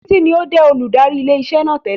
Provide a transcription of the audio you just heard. Títí ní ó jẹ́ olùdarí ilé iṣẹ́ náà tẹ́lẹ̀